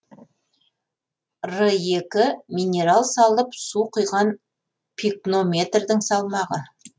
р екі минерал салып су құйған пикнометрдің салмағы